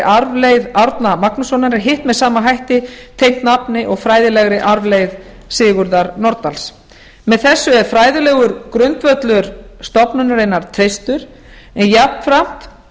arfleifð árna magnússonar en hitt með sama hætti tengt nafni og fræðilegri arfleifð sigurðar nordals með þessu er fræðilegur grundvöllur stofnunarinnar treystur en jafnframt